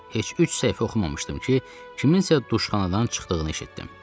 Heç üç səhifə oxumamışdım ki, kimsə duşxanadan çıxdığını eşitdim.